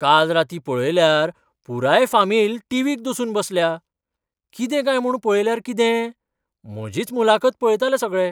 काल रातीं पळयल्यार पुराय फामील टीव्हीक दसून बसल्या. कितें काय म्हूण पळयल्यार कितें? म्हजीच मुलाखत पळयताले सगळे!